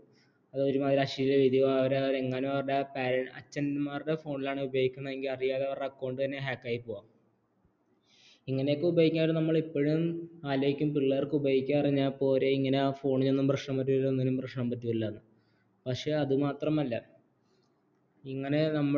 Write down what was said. ഇതനെയൊക്കെ ഉപയോഗിക്കാൻ പറ്റുമെങ്കിലും നമ്മള് ഇപ്പോഴും ആലോചിക്കും പിള്ളേർക്ക് ഉപയോഗിക്കാനറിഞ്ഞപ്പോരേ ഇങ്ങന phone നൊന്നും പ്രശ്‍നം വരൂല ഒന്നിനും പ്രശ്‍നം വരൂലന്ന് പക്ഷേ അത് മാത്രമല്ല ഇങ്ങനെ നമ്മുടെ ഈ